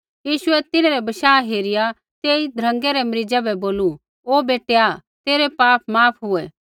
यीशुऐ तिन्हरै बशाह हेरिया तेई ध्रँगै रै मरीज़ा बै बोलू ओ बेटैआ तेरै पाप माफ हुऐ